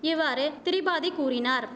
இவ்வாறு திரிபாதி கூறினார்